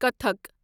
Kathak